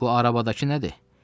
Bu arabadakı nədir?